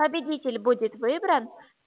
победитель будет выбран